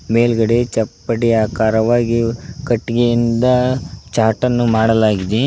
ಮೇಲ್ಗಡೆ ಚಪ್ಪಟೆ ಆಕಾರವಾಗಿ ಕಟ್ಟಿಗೆಯಿಂದ ಚಾಟನ್ನು ಮಾಡಲಾಗಿದೆ.